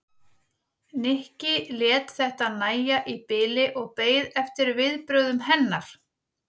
Nikki lét þetta nægja í bili og beið eftir viðbrögðum hennar.